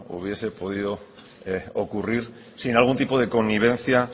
hubiese podido ocurrir sin algún tipo de connivencia